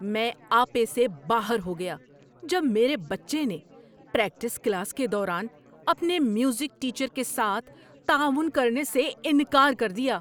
میں آپے سے باہر ہو گیا جب میرے بچے نے پریکٹس کلاس کے دوران اپنے میوزک ٹیچر کے ساتھ تعاون کرنے سے انکار کر دیا۔